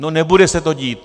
No, nebude se to dít.